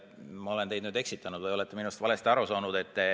Ma olen teid nüüd eksitanud või te olete minust valesti aru saanud.